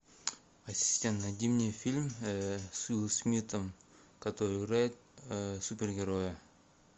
ассистент найди мне фильм с уилл смитом который играет супергероя